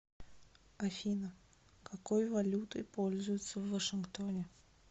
афина какой валютой пользуются в вашингтоне